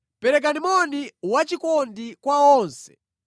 Perekani moni wachikondi kwa onse.